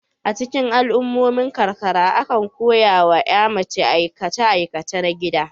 A cikin al'ummomin karkara, akan koya wa ƴa mace aikace aikace na gida.